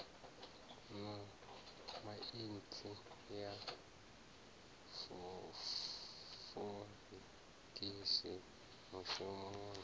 na saintsi ya forensikhi mushumi